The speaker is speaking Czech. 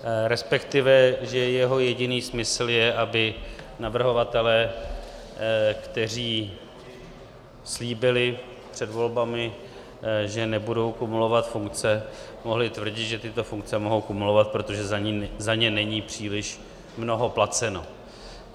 Respektive že jeho jediný smysl je, aby navrhovatelé, kteří slíbili před volbami, že nebudou kumulovat funkce, mohli tvrdit, že tyto funkce mohou kumulovat, protože za ně není příliš mnoho placeno.